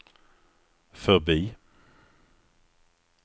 förbi